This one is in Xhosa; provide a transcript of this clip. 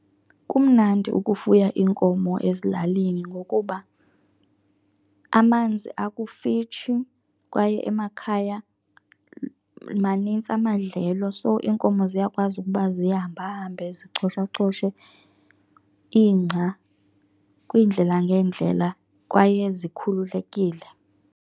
Kumnandi ukufuya iinkomo ezilalini ngokuba amanzi akufitshi kwaye emakhaya manintsi amadlelo. So iinkomo ziyakwazi ukuba zihambahambe zicoshacoshe ingca kwiindlela ngeendlela kwaye zikhululekile.